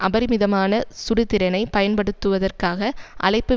அபரிமிதமான சுடுதிறனைப் பயன்படுத்துவதற்காக அழைப்பு